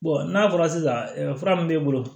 n'a fɔra sisan fura min b'e bolo